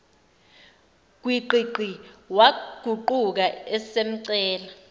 gwiqiqi waguquka esemcela